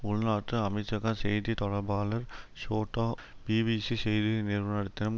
உள்நாட்டு அமைச்சக செய்தி தொடர்பாளர் ஷோட்டா பிபிசி செய்தி நிறுவனத்திடம்